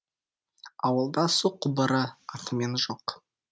ауылда су құбыры атымен жоқ